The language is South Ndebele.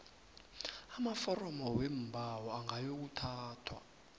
amaforomo weembawo angayokuthathwa